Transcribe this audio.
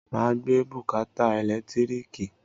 Màá gbé bùkátà ẹ̀lẹ́tíríkì